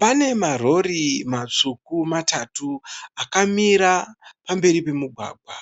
Pane marori matsvuku matatu. Akamira pamberi pemugwagwa.